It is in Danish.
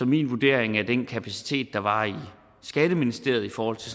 min vurdering af den kapacitet der var i skatteministeriet i forhold til